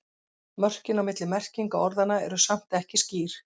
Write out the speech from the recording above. Mörkin á milli merkinga orðanna eru samt ekki skýr.